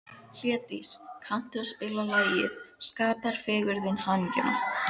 Hlédís, kanntu að spila lagið „Skapar fegurðin hamingjuna“?